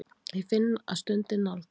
Ég finn að stundin nálgast.